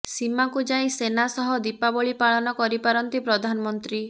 ସୀମାକୁ ଯାଇ ସେନା ସହ ଦୀପାବଳି ପାଳନ କରିପାରନ୍ତି ପ୍ରଧାନମନ୍ତ୍ରୀ